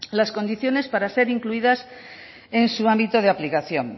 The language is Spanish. las condiciones para ser incluidas en su ámbito de aplicación